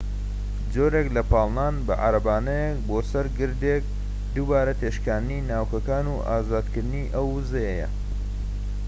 جۆرێک لە پاڵنان بە عارەبانەیەک بۆ سەر گردێک دووبارە تێکشاندنی ناووکەکان و ئازادکردنی ئەو ووزەیە